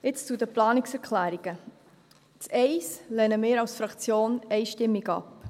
Jetzt zu den Planungserklärungen: Die erste lehnen wir als Fraktion einstimmig ab.